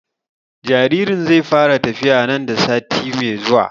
Jaririn zai fara tafiya nan da zuwa sati mai zuwa